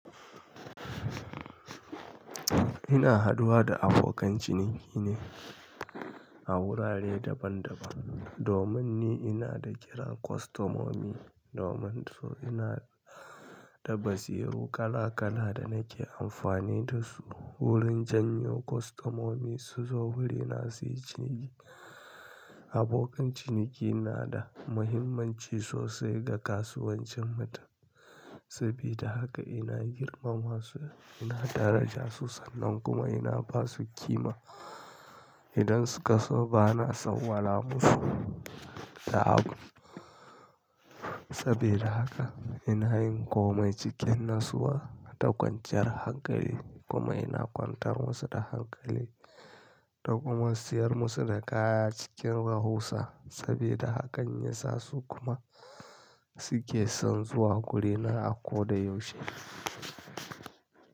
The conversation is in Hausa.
Ina haduwa da abokan ciniki ne a wurare daban-daban. Domin ni ina da kiran kwastomomi, domin su ina da basiru kala-kala da nake amfani da su wurin janyo kwastomomi su zo wurina su yi cini. Abokan ciniki na da muhimmanci sosai ga kasuwancinmu saboda haka ina girmama su, ina daraja su sannan kuma ina ba su ƙima. Idan su ka so bana san wala musu da abu. Saboda haka ina yin komai cikin nassuwa da kwanciyar hankali kuma ina kwantar musu da hankali da kuma siyar musu da kaya cikin rahusa saboda hakan ya sa su kuma su ke son zuwa gurina a ko da yaushe.